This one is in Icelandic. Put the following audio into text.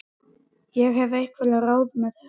Ég hef einhver ráð með það.